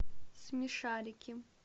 смешарики